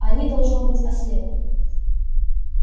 они должно быть ослепли